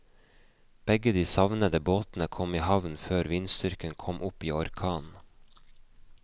Begge de savnede båtene kom i havn før vindstyrken kom opp i orkan.